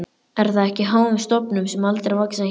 Er það ekki á háum stofnum- sem aldrei vaxa hér?